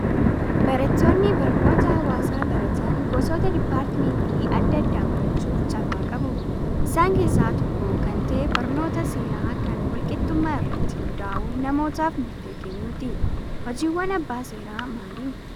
Barattoonni barnoota hawaasaa baratan gosoota diippaartimentii adda addaa barachuuf carraa qabu. Isaan keessaa tokko kan ta'e barnoota seeraa kan wal qixxummaa irratti hundaa'uun namootaaf murtee kennuuti. Hojiiwwan abbaa seeraa maali?